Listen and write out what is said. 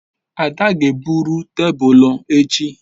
Ada ga-ebruru tebulu echi